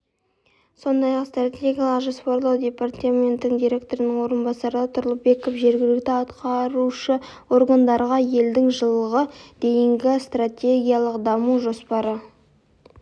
сондай-ақ стратегиялық жоспарлау департаменті директорының орынбасары тұрлыбеков жергілікті атқарушы органдарға елдің жылға дейінгі стратегиялық даму жоспары